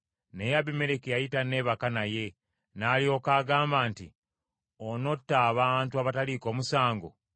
Naye Abimereki yali tanneebaka naye, n’alyoka agamba nti, “Onotta abantu abataliiko musango.